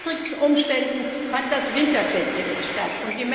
Unter widrigsten Umständen fand das Winterfestival statt.